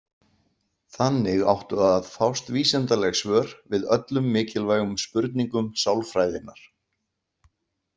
Þannig áttu að fást vísindaleg svör við öllum mikilvægum spurningum sálfræðinnar.